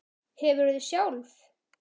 Hefurðu sjálf?